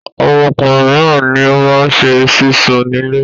Àwọn ọkùnrin mìíràn ni ó máa ṣe sísun nílé.